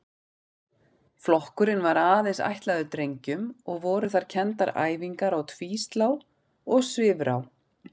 Flokkurinn var aðeins ætlaður drengjum og voru þar kenndar æfingar á tvíslá og svifrá.